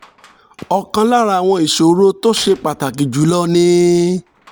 ọ̀kan lára àwọn ìṣòro tó ṣe pàtàkì jù lọ ni